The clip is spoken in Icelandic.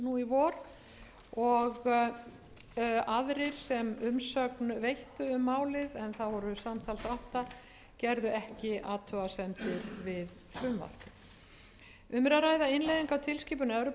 í vor og aðrir sem umsögn veittu um málið en það voru samtals átta gerðu ekki athugasemdir við frumvarpið um er að ræða innleiðingu á tilskipun evrópuþingsins og evrópuráðsins númer sextíu og